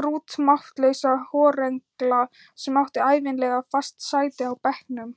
grútmáttlausa horrengla sem átti ævinlega fast sæti á bekknum!